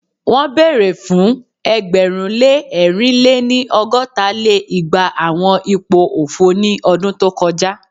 Won bere fun ẹgbẹ̀rún lé ẹ̀rin lé-ní- ọgọ́ta lé igba awọn ipo ofo ni ọdun to kọja